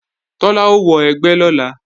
Tọ́lá ó wọ ẹgbẹ́ lọ́la